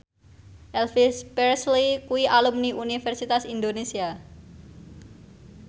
Elvis Presley kuwi alumni Universitas Indonesia